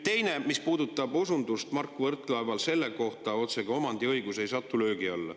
Teine asi, mis puudutab Mark Võrklaeva osundust selle kohta, otsekui omandiõigus ei satu löögi alla.